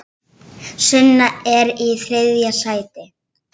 Sunna er í þriðja sæti.